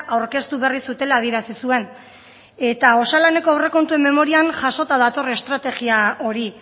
aurkeztu berri zutela adierazi zuen eta osalaneko aurrekontuen memorian jasota dator estrategia hori